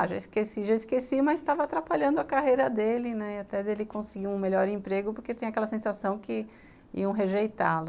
Ah, já esqueci, já esqueci, mas estava atrapalhando a carreira dele, né, até dele conseguir um melhor emprego, porque tinha aquela sensação que iam rejeitá-lo.